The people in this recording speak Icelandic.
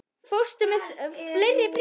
Fórstu með fleiri bréf?